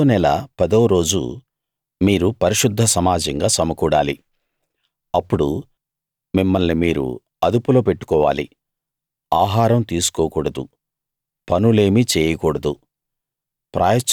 ఈ ఏడో నెల పదో రోజు మీరు పరిశుద్ధ సమాజంగా సమకూడాలి అప్పుడు మిమ్మల్ని మీరు అదుపులో పెట్టుకోవాలి ఆహారం తీసుకోకూడదు పనులేమీ చేయకూడదు